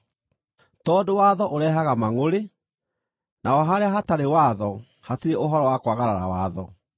tondũ watho ũrehaga mangʼũrĩ. Naho harĩa hatarĩ watho hatirĩ ũhoro wa kwagarara watho.